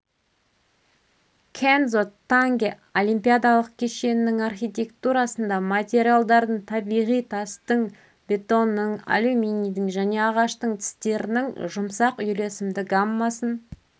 кендзо танге олимпиадалық кешеннің архитектурасында материалдардың табиғи тастың бетонның алюминийдің және ағаштың тістерінің жұмсақ үйлесімді гаммасын